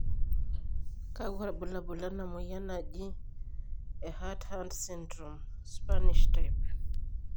kakua irbulabol lena moyian e Heart hand syndrome, Spanish type?